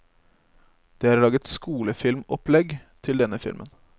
Det er laget skolefilmopplegg til denne filmen.